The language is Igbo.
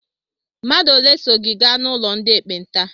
Mmadụ ole so gị gaa n'ụlọ ndị ekpenta?